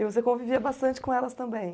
E você convivia bastante com elas também?